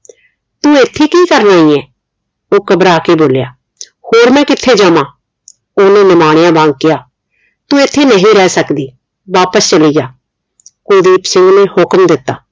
ਤੂੰ ਇਥੇ ਕਿ ਕਰ ਰਹੀ ਹੈ ਉਹ ਘਬਰਾ ਕੇ ਬੋਲਿਆ ਹੋਰ ਮੈਂ ਕਿਥੇ ਜਾਵਾਂ ਉਹਨੇ ਨਿਮਾਣਿਆ ਵਾਂਗ ਕਿਹਾ ਤੂੰ ਇਥੇ ਨਹੀਂ ਰਹਿ ਸਕਦੀ ਵਾਪਿਸ ਚਲੀ ਜਾ ਕੁਲਦੀਪ ਸਿੰਘ ਨੇ ਹੁਕਮ ਦਿੱਤਾ